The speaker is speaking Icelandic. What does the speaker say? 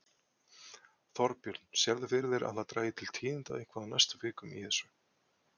Þorbjörn: Sérðu fyrir þér að það dragi til tíðinda eitthvað á næstu vikum í þessu?